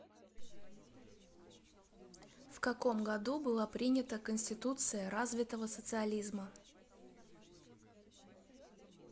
в каком году была принята конституция развитого социализма